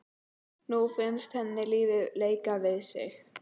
Nú finnst henni lífið leika við sig.